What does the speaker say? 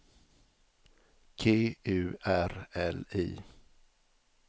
G U R L I